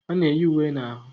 A na-eyi uwe na ahụ